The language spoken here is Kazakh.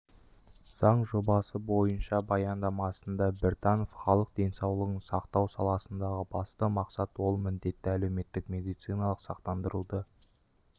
заң жобасы бойынша баяндамасында біртанов халық денсаулығын сақтау саласындағы басты мақсат ол міндетті әлеуметтік медициналық сақтандыруды